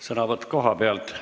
Sõnavõtt kohalt.